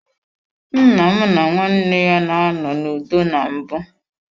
Nnam na nwanne ya na anọ n'udo na mbụ.